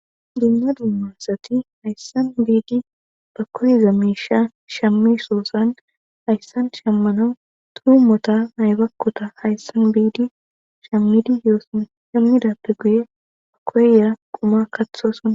Dumma dumma asati hayssan biidi ba koyiza miisha shammosoosan hayssan shammanau tuu mota naybakkota hayssan biidi shammidi yooson hemmidappe guye a koyera quma katho suna.